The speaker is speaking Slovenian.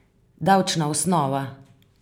Davčna osnova?